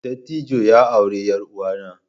Dattijon ya auri yar uwanna